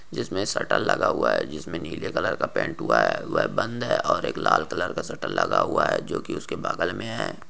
जिसमे शटर लगा हुआ है जिसमे नीले कलर का पेन्ट हुआ है वह बंद है ओर एक लाल कलर का शटर लगा हुआ है जो की उसके बगल मे है ।